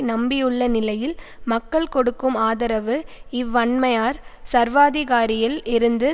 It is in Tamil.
நம்பியுள்ள நிலையில் மக்கள் கொடுக்கும் ஆதரவு இவ்வன்மையார் சர்வாதிகாரியில் இருந்து